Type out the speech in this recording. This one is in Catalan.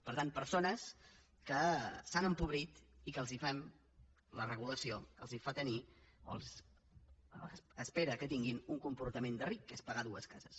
per tant persones que s’han empobrit i que la regulació espera que tinguin un comportament de ric que és pagar dues cases